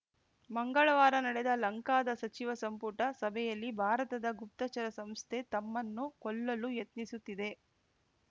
ಮಂಗಳವಾರ ನಡೆದ ಲಂಕಾದ ಸಚಿವ ಸಂಪುಟ ಸಭೆಯಲ್ಲಿ ಭಾರತದ ಗುಪ್ತಚರ ಸಂಸ್ಥೆ ತಮ್ಮನ್ನು ಕೊಲ್ಲಲು ಯತ್ನಿಸುತ್ತಿದೆ